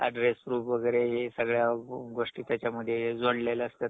address proof वगैरे हे सगळ्या गोष्टी त्याच्यामध्ये जोडलेल्या असतात.